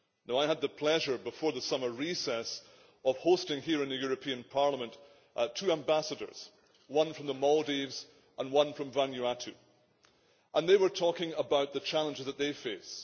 I had the pleasure, before the summer recess, of hosting here at Parliament two ambassadors, one from the Maldives and one from Vanuatu, and they were talking about the challenges that they face.